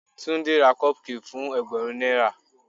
Tunde ra cupcake fún ẹgbẹ̀rún náírà.